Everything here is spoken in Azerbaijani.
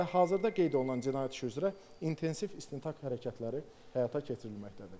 Və hazırda qeyd olunan cinayət işi üzrə intensiv istintaq hərəkətləri həyata keçirilməkdədir.